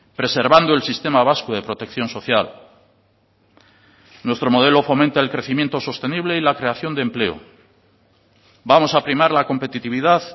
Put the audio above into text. preservando el sistema vasco de protección social nuestro modelo fomenta el crecimiento sostenible y la creación de empleo vamos a primar la competitividad